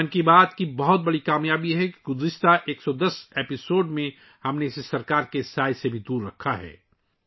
'من کی بات' کی یہ بڑی کامیابی ہے کہ گزشتہ 110 ایپی سوڈ میں ، ہم نے اسے حکومت کی پرچھائی سے بھی دور رکھا ہے